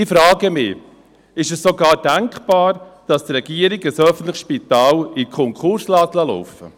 Ich frage mich: Ist es sogar denkbar, dass die Regierung ein öffentliches Spital in den Konkurs laufen lässt?